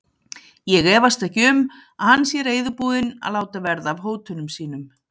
Ég efast ekki um, að hann sé reiðubúinn að láta verða af hótunum sínum.